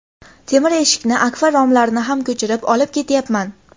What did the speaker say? Temir eshikni, akfa romlarini ham ko‘chirib, olib ketyapman.